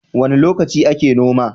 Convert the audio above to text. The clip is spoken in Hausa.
Wane lokaci ake noma?